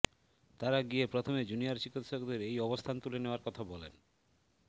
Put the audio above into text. তারা গিয়ে প্রথমে জুনিয়র চিকিৎসকদের এই অবস্থান তুলে নেওয়ার কথা বলেন